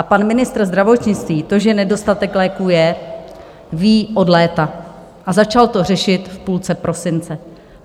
A pan ministr zdravotnictví to, že nedostatek léků je, ví od léta a začal to řešit v půlce prosince.